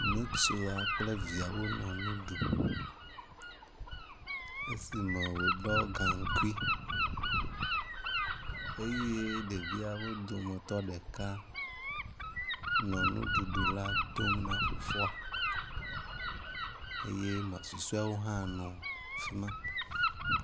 Ŋutsua kple via wonɔ nu ɖum esime wòɖɔ gaŋkui eye ɖeviawo dometɔ ɖeka nɔ nuɖuɖu dom na fofoa eye ame susɔeawo hã nɔ fi ma.